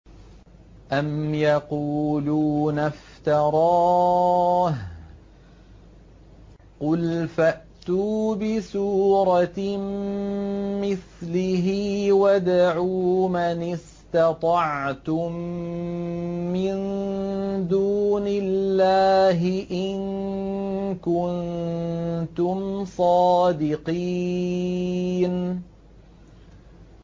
أَمْ يَقُولُونَ افْتَرَاهُ ۖ قُلْ فَأْتُوا بِسُورَةٍ مِّثْلِهِ وَادْعُوا مَنِ اسْتَطَعْتُم مِّن دُونِ اللَّهِ إِن كُنتُمْ صَادِقِينَ